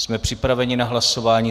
Jsme připraveni na hlasování.